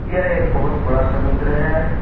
यह एक बहुत बड़ा समुद्र है।